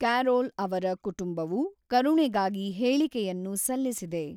Carol ಅವರ ಕುಟುಂಬವು ಕರುಣೆಗಾಗಿ ಹೇಳಿಕೆಯನ್ನು ಸಲ್ಲಿಸಿದೆ.